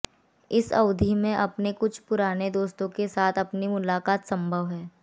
इस अवधि में कुछ पुराने दोस्तों के साथ आपकी मुलाकात संभव है